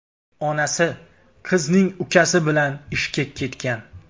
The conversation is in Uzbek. Onasi qizning ukasi bilan ishga ketgan.